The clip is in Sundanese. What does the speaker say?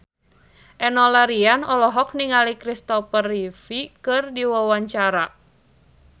Enno Lerian olohok ningali Christopher Reeve keur diwawancara